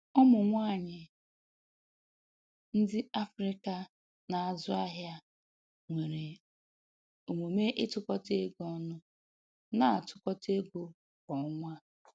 Ụmụ nwanyị ndị Afrịka na-azụ ahịa nwere omume ịtụkọta ego ọnụ, na-atụkọta ego kwa ọnwa